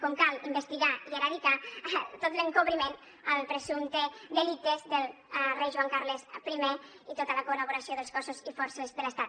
com cal investigar i erradicar tot l’encobriment als presumptes delictes del rei joan carles i i tota la col·laboració dels cossos i forces de l’estat